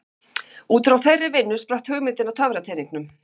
Útfrá þeirri vinnu spratt hugmyndin að töfrateningnum.